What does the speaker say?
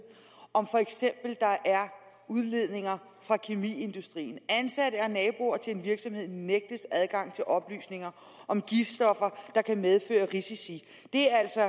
om der for eksempel er udledninger fra kemiindustrien ansatte og naboer til en virksomhed nægtes adgang til oplysninger om giftstoffer der kan medføre risici det er altså